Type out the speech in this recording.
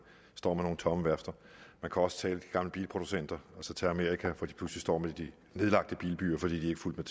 står med nogle tomme værfter man kan også tage de gamle bilproducenter og så tage amerika hvor de pludselig står med de nedlagte bilbyer fordi de ikke fulgte